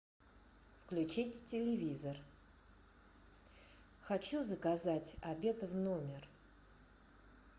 включить телевизор хочу заказать обед в номер